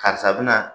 Karisa bina